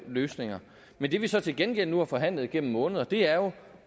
løsninger men det vi så til gengæld nu har forhandlet igennem måneder er jo